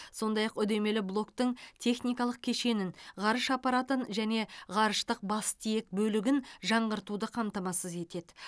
сондай ақ үдемелі блоктың техникалық кешенін ғарыш аппаратын және ғарыштық бастиек бөлігін жаңғыртуды қамтамасыз етеді